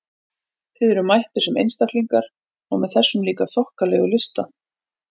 Þið eruð mættir sem einstaklingar- og með þessa líka þokkalegu lista!